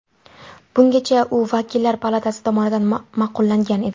Bungacha u Vakillar palatasi tomonidan ma’qullangan edi.